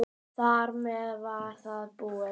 Þar með var það búið.